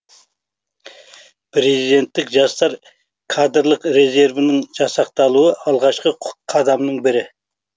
президенттік жастар кадрлық резервінің жасақталуы алғашқы қадамның бірі